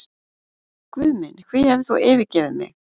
Guð minn, hví hefur þú yfirgefið mig?